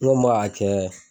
ma a kɛ